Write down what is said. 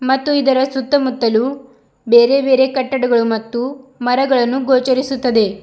ಮತ್ತು ಇದರ ಸುತ್ತಮುತ್ತಲು ಬೇರೆ ಬೇರೆ ಕಟ್ಟಡಗಳು ಮತ್ತು ಮರಗಳನ್ನು ಗೋಚರಿಸುತ್ತದೆ.